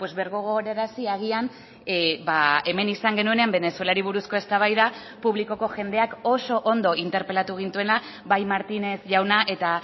birgogorarazi agian hemen izan genuenean venezuelari buruzko eztabaida publikoko jendeak oso ondo interpelatu gintuena bai martínez jauna eta